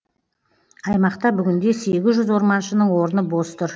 аймақта бүгінде сегіз жүз орманшының орны бос тұр